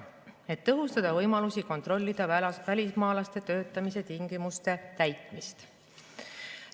tõhustada võimalusi kontrollida välismaalaste töötamise tingimuste täitmist.